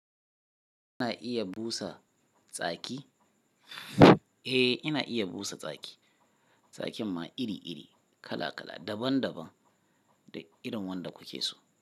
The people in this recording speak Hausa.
Ina iya busa tsaki? Eh, ina iya busa tsaki. Tsakin ma iri-iri, kala-kala, daban-daban da irin wanda kuke so.